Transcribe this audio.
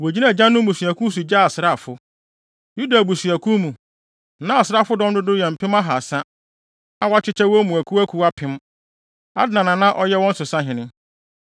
Wogyinaa agyanom mmusuakuw so gyee asraafo. Yuda abusua mu, na asraafodɔm no dodow yɛ mpem ahaasa (300,000) a wɔakyekyɛ wɔn mu akuwakuw apem (1,000). Adna na na ɔyɛ wɔn so sahene.